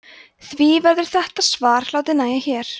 því verður þetta svar látið nægja hér